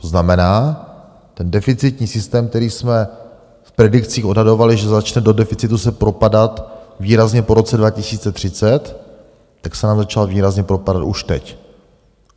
To znamená, ten deficitní systém, který jsme v predikcích odhadovali, že začne do deficitu se propadat výrazně po roce 2030, tak se nám začal výrazně propadat už teď.